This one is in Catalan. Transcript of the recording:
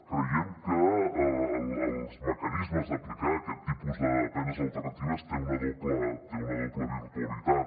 creiem que els mecanismes d’aplicar aquest tipus de penes alternatives tenen una doble virtualitat